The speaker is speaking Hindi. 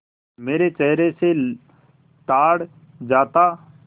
मेरे चेहरे से ताड़ जाता